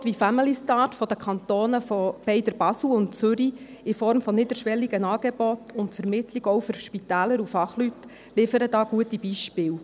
Angebote wie «Familystart» der Kantone beider Basel und des Kantons Zürich in Form von niederschwelligen Angeboten und Vermittlung, auch für Spitäler und Fachleute, liefern da gute Beispiele.